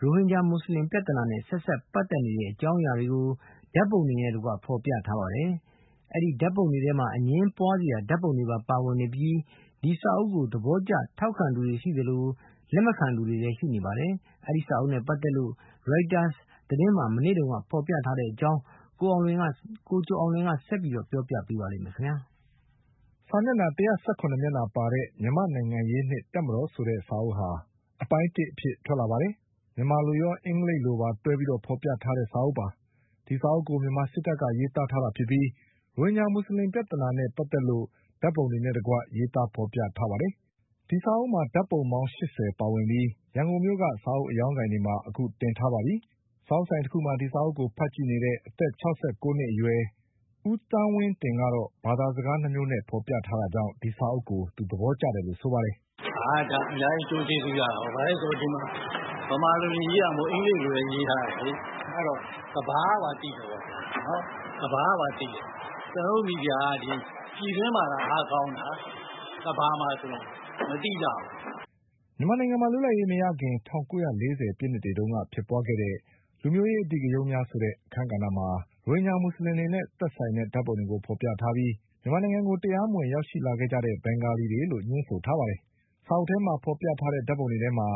ရိုဟင်ဂျာမူဆလင်ပြဿနာနဲ့ ဆက်စပ်ပတ် သက်တဲ့အကြောင်းအရာတွေကို ဓါတ်ပုံတွေနဲ့တကွဖေါ်ပြထားပါတယ်။ အဲဒီဓါတ်ပုံတွေထဲမှာ အငြင်းပွါးစရာဓါတ်ပုံတွေပါ ဝင်နေပြီး ဒီစာအုပ်ကို သဘောကျထောက်ခံသူတွေရှိသလို လက်မခံသူတွေလည်းရှိနေပါတယ်။ ဒီစာအုပ်နဲ့ပတ်သက်လို့ Reuters သတင်းမှာမနေ့တုန်းက ဖေါ်ပြထားတဲ့အကြောင်း ကိုကျော်အောင်လွင်က ဆက်ပြီးပြောပြပါလိမ့်မယ်။ စာမျက်နှာ၁၁၇မျက်နှာပါတဲ့ မြန်မာ့နိုင်ငံရေးနှင့်တပ်မတော် ဆိုတဲ့စာအုပ်ဟာ အပိုင်းတစ်အဖြစ်ထွက်လာပါတယ်။ စာအုပ်ဟာ မြန်မာလိုရော အင်္ဂလိပ်လိုပါတွဲပြီး ဖေါ် ပြထားတဲ့စာအုပ်ပါ။ ဒီစာအုပ်ကို မြန်မာစစ်တပ်ကရေးသားထားတာဖြစ်ပြီး ရိုဟင်ဂျာမူဆလင်ပြဿနာနဲ့ပတ်သက်လို့ ဓါတ် ပုံတွေနဲ့တကွရေး သားဖေါ်ပြထားတာပါ။ ဒီစာအုပ်မှာဓါတ်ပုံ ပေါင်း၈၀ ပါဝင်ပြီး ရန်ကုန်မြို့ကစာအုပ်အရောင်း ဆိုင် တွေမှာအခုတင်ထားပါပြီ။ စာအုပ်ဆိုင်တခုမှာ ဒီစာအုပ်ကိုဖတ်ကြည့်နေတဲ့ အသက်၆၉နှစ်အရွယ် ဦးသန်းဝင်းတင် ကတော့ ဘာသာစကား၂ မျိုးနဲ့ဖေါ်ပြထားတာကြောင့် ဒီစာအုပ်ကို သဘောကျတယ်လို့ဆိုပါတယ်။ “ဒါ အများကြီး အကျိုးကျေးဇူးရတာပေါ့။ ဘာဖြစ်လို့လဲဆိုတော့ ဗမာလိုတင်ရေးထားတာမဟုတ်ဘူး၊ အင်္ဂလိပ်လိုလည်း ရေးထားတယ်ဆိုတော့ ကမ္ဘာကပါ သိတယ်။ ကျနော်တို့ မီဒီယာက ပြည်တွင်းမှာသာ အားကောင်းတာ။ ကမ္ဘာမှာဆို မသိကြဘူး။ ” မြန်မာနိုင်ငံမှာ လွတ်လပ်ရေးမရခင် ၁၉၄၀ပြည့်နှစ်တွေတုန်းကဖြစ်ပွါးခဲ့တဲ့ လူမျိုးရေးအဓိဂရုဏ်းများဆိုတဲ့ အခန်းကဏ္ဍမှာ ရိုဟင် ဂျာမူဆလင်တွေနဲ့ဆိုင်တဲ့ဓါတ်ပုံတွေကိုဖေါ်ပြထားပြီး မြန်မာနိုင်ငံကိုတရားမဝင်ရောက်ရှိလာတဲ့ ဘင်္ဂလီတွေလို့ ညွှန်းဆို ထားပါတယ်။ စာအုပ်ထဲမှာဖေါ်ပြထားတဲ့ ဓါတ်ပုံတွေထဲမှာ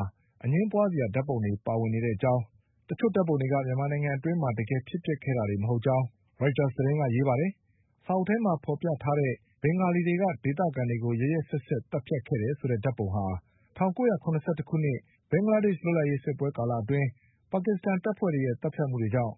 အငြင်းပွါးစရာဓါတ်ပုံတွေပါဝင်နေတဲ့ အကြောင်း တချို့ဓါတ်ပုံ တွေက မြန်မာနိုင်ငံအတွင်းမှာ တကယ်ဖြစ်ပျက်ခဲ့တာတွေမဟုတ်ကြောင်း ရိုက်တာစ်သတင်းက ရေးပါတယ်။ စာအုပ်ထဲမှာဖေါ်ပြထားတဲ့ ဘင်္ဂလီတွေက ဒေသခံတွေကိုရက်ရက်စက်စက်သတ်ဖြတ်ခဲ့တယ်ဆိုတဲ့ဓါတ်ပုံဟာ ၁၉၇၁ ခုနှစ် ဘင်္ဂလားဒေ့ချ် လွတ်လပ် ရေးစစ်ပွဲကာလအတွင်း ပါကစ္စတန်တပ်ဖွဲ့တွေရဲ့သတ်ဖြတ်မှုကြောင့်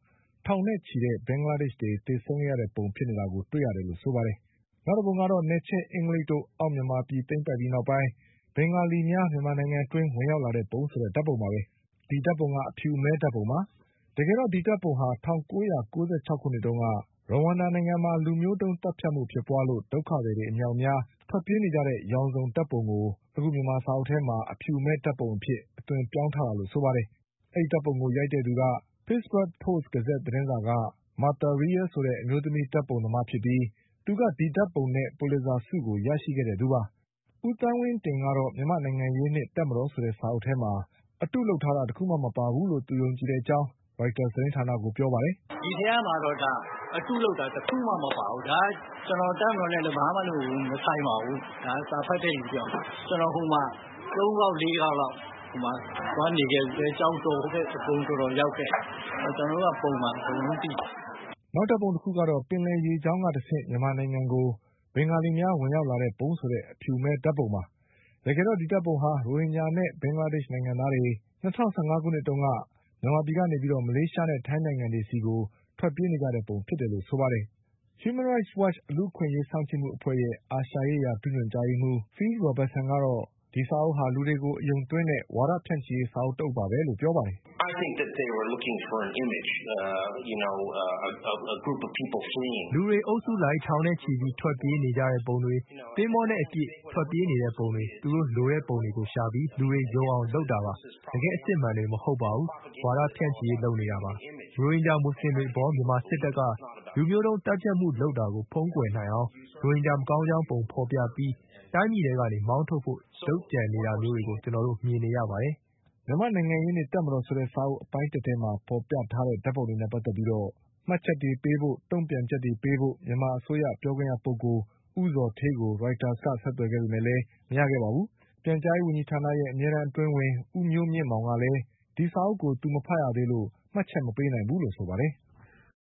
ထောင်နဲ့ချီတဲ့ ဘင်္ဂလား ဒေ့ချ်တွေသေဆုံးခဲ့ ရတဲ့ပုံ ဖြစ်နေတာကိုတွေရတယ်လို့ဆိုပါတယ်။ နောက်တပုံကတော့ နယ်ချဲ့အင်္ဂလိပ်တို့ အောက်မြန်မာ ပြည်သိမ်းပိုက်ပြီးနောက် ဘင်္ဂလီများ မြန်မာနိုင်ငံအတွင်းဝင်ရောက်လာပုံဆိုတဲ့ ဓါတ်ပုံပါပဲ။ ဒီဓါတ်ပုံက အဖြူအမဲဓါတ်ပုံပါ။ တကယ်တော့ ဒီဓါတ်ပုံဟာ ၁၉၉၆ ခုနှစ်တုန်းက ရဝမ်ဒါနိုင်ငံမှာ လူမျိုးတုန်း သတ်ဖြတ်မှုဖြစ်ပွါးလို့ ဒုက္ခသည်တွေအမြောက် အများထွက်ပြေးနေကြတဲ့ ရောင်စုံဓါတ်ပုံကို မြန်မာစာအုပ်ထဲမှာ အဖြူအမဲဓါတ်ပုံအဖြစ်အသွင်ပြောင်းထားတာလို့ဆိုပါ တယ်။ ဒီဓါတ်ပုံကို ရိုက်တဲ့သူက Pittsburgh Post- Gazette သတင်းစာက Martha Rial ဆိုတဲ့အမျိုးသမီးဓါတ်ပုံသမား ဖြစ်ပြီးသူက ဒီဓါတ်ပုံနဲ့ ပူလစ်ဇာဆုကိုရရှိခဲ့သူပါ။ ဦးသန်းဝင်းတင်ကတော့ မြန်မာ့နိုင်ငံရေးနှင့်တပ်မတော်ဆိုတဲ့စာအုပ် ထဲမှာ အတုလုပ် တာတခုမှမပါဘူးလို့ယုံကြည်တဲ့အကြောင်း ရိုက်တာစ်သတင်းဌာနကိုပြောပါတယ်။ “ဒီထဲမှာတော့ အတုလုပ်တာ တခုမှမပါဘူး။ ကျနော် တပ်မတော်နဲ့လည်း ဘာမှမဆိုင်ပါဘူး။ ကျနော် စာဖတ်တဲ့လူတယောက်ပါ။ ကျနော် ဟိုမှာ သုံးခေါက် လေးခေါက်လောက် သွားနေခဲ့ဖူးတယ်။ ကျောက်တော်တို့ အကုန် ရောက်ခဲ့တယ်။ ကျနော်တို့က…..အကုန်လုံးသိတယ်။” နောက်ဓါတ်ပုံ တခုကတော့ ပင်လယ်ရေးကြောင်းကတဆင့် မြန်မာနိုင်ငံကို ဘင်္ဂါလီများဝင်ရောက်လာပုံဆိုတဲ့ အဖြူအမဲဓါတ်ပုံပါ။ တကယ်တော့ဒီဓါတ်ပုံဟာ ရိုဟင်ဂျာနဲ့ ဘင်္ဂလားဒေ့ချ်နိုင်ငံသားတွေ ၂၀၁၅ခုနှစ်တုန်းက မြန်မာပြည် ကနေမလေးရှားနဲ့ ထိုင်းနိုင်ငံတွေဆီကိုထွက်ပြေးကြတဲ့ပုံဖြစ်နေတယ်လို့ဆိုပါတယ်။ Human Rights Watch လူ့အခွင့် အရေးစောင့်ကြည့် မှုအဖွဲ့ရဲ့ အာရှရေးရာ ဒုညွှန်ကြားရေးမှုး Phil Robertsonကတော့ ဒီစာအုပ်ဟာ လူတွေကို အယုံသွင်း တဲ့ဝါဒဖြန့်ချိရေး စာအုပ်တအုပ်ပဲလို့ဆိုပါတယ်။ “လူတွေအုပ်စုလိုက် ထောင်နဲ့ချီပြီးထွက်ပြေးနေကြတဲ့ပုံ၊ သင်္ဘောနဲ့အပြည့်အကျပ်ထွက်ပြေးနေတဲ့ ပုံတွေ၊ သူတို့လိုတဲ့ ပုံတွေကိုရှာပြီး လူတွေကိုယုံအောင်လုပ်တာပါ။ တကယ့်အစစ်အမှန်တွေမဟုတ်ပါဘူး၊ ဝါဒဖြန့်ချိရေးလုပ်နေတာပါပဲ။ ရိုဟင်ဂျာမူဆလင်တွေအပေါ် မြန်မာစစ်တပ်ကလူမျိုးတုန်းသတ်ဖြတ်မှုလုပ်တာကို ဖုံးကွယ်နိုင်အောင် ရိုဟင်ဂျာမကောင်း ကြောင်းပုံဖေါ်ပြီး ရိုဟင်ဂျာတွေကိုတိုင်းပြည်ထဲကနေမောင်းထုတ်ဖို့လုပ်ကြံနေတာမျိုးတွေကို ကျနော်တို့မြင်နေရပါတယ်။” မြန်မာ့နိုင်ငံရေးနှင့်တပ်မတော်အပိုင်းတစ်စာအုပ်ထဲမှာဖေါ်ပြထားတဲ့ ဓါတ်ပုံတွေနဲ့ပတ်သက်ပြီး မှတ်ချက်တွေပေးဖို့၊ တုန့် ပြန်ချက်တွေပေးဖို့ မြန်မာအစိုးရပြောခွင့်ရပုဂ္ဂိုလ် ဦးဇော်ဌေးကိုရိုက်တာစ်က ဆက်သွယ်ခဲ့ပေမဲ့လည်း မရခဲ့ပါဘူး။ ပြန် ကြားရေးဝန်ကြီးဌာနရဲ့ အမြဲတန်းအတွင်းဝန် ဦးမျိုးမြင့်မောင်ကလည်း ဒီစာအုပ်ကိုသူမဖတ်ရသေးလို့ မှတ်ချက်မပေးနိုင် ဘူးလို့ဆိုပါတယ်။